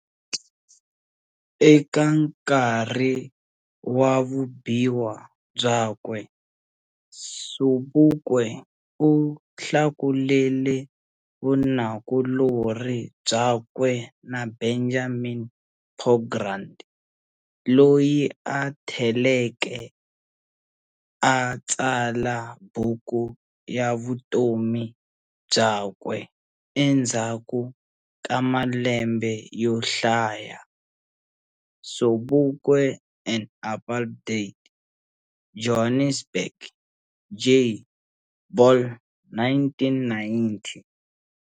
Eka knarhi wa vubiwa byakwe, Sobukwe u hlakulele vunakulori byakwe na Benjamin Pogrund loyi a theleke a tsala buku ya vutomi byakwe endzhaku ka malembe yo hlaya, "Sobukwe and Apartheid", Johannesburg-J. Ball, 1990